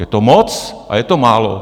Je to moc a je to málo.